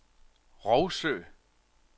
Rougsø